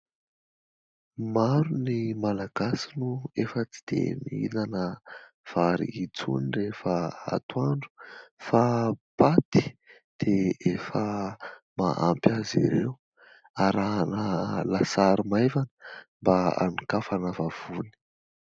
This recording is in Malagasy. Maro ny malagasy no efa tsy dia mihinana vary intsony rehefa atoandro fa paty dia efa mahampy azy ireo, arahana lasary maivana mba anokafana vavony.